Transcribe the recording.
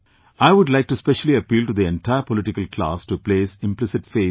I would like to specially appeal to the entire political class to place implicit faith in the people